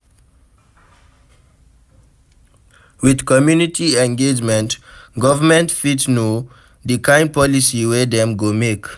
With community engagement, government fit know di kind policy wey dem go make